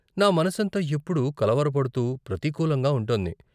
నా మనసంతా ఎప్పుడూ కలవరపడుతూ, ప్రతికూలంగా ఉంటోంది.